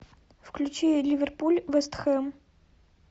включи ливерпуль вест хэм